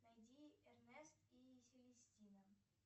найди эрнест и селестина